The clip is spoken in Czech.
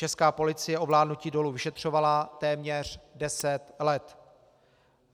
Česká policie ovládnutí dolů vyšetřovala téměř deset let.